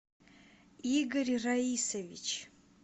игорь раисович